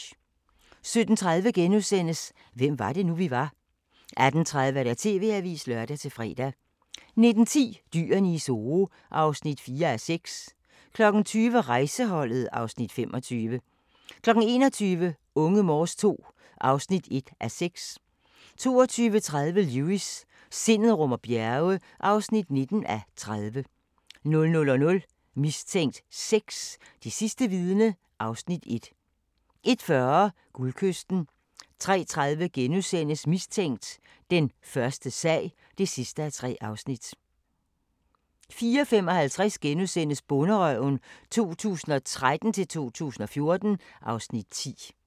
17:30: Hvem var det nu, vi var? * 18:30: TV-avisen (lør-fre) 19:10: Dyrene i Zoo (4:6) 20:00: Rejseholdet (Afs. 25) 21:00: Unge Morse II (1:6) 22:30: Lewis: Sindet rummer bjerge (19:30) 00:00: Mistænkt 6: Det sidste vidne (Afs. 1) 01:40: Guldkysten 03:30: Mistænkt: Den første sag (3:3)* 04:55: Bonderøven 2013-2014 (Afs. 10)*